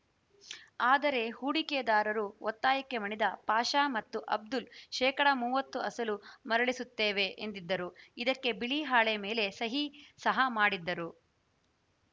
ಆದರೆ ಹೂಡಿಕೆದಾರರು ಒತ್ತಾಯಕ್ಕೆ ಮಣಿದ ಪಾಷಾ ಮತ್ತು ಅಬ್ದುಲ್‌ ಶೇಕಡಾ ಮೂವತ್ತು ಅಸಲು ಮರಳಿಸುತ್ತೇವೆ ಎಂದಿದ್ದರು ಇದಕ್ಕೆ ಬಿಳಿ ಹಾಳೆ ಮೇಲೆ ಸಹಿ ಸಹ ಮಾಡಿದ್ದರು